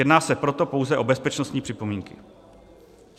Jedná se proto pouze o bezpečnostní připomínky.